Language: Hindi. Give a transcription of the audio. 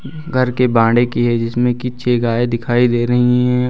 घर के की हैं जिसमें कि छे गाए दिखाई दे रही है।